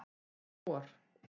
Um vor.